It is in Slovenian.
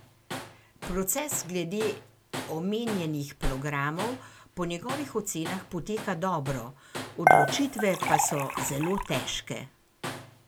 Proces glede omenjenih programov po njegovih ocenah poteka dobro, odločitve pa so zelo težke.